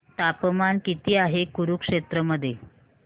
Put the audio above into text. तापमान किती आहे कुरुक्षेत्र मध्ये